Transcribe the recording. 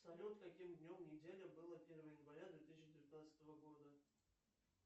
салют каким днем недели было первое января две тысячи девятнадцатого года